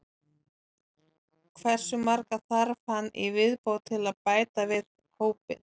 Hversu marga þarf hann í viðbót til að bæta við hópinn?